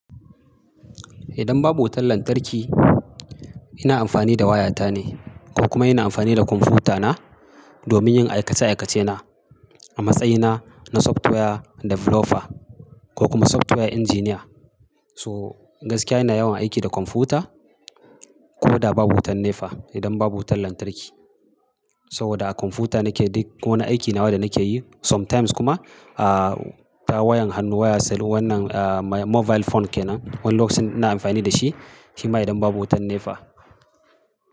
Idan babu wutan lantarki, ina amfani da wayata ne ko kuma ina amfani da kwamfutana domin yin aikace-aikacena. A matsayina na software developer ko kuma software engineer. So gaskiya ina yawan aiki da kwamfuta ko da babu wutan NEPA idan babu wutar lantarki. Saboda a kwamfuta nake duk wani aiki nawa da nake yi. Sometimes kuma, ah, ta wayan hannu waya cell wannan mobile phone kenan. Wani lokacin ina amfani da shi shima idan babu wutan NEPA.